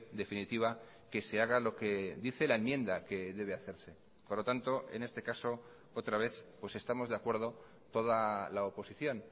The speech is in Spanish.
definitiva que se haga lo que dice la enmienda que debe hacerse por lo tanto en este caso otra vez pues estamos de acuerdo toda la oposición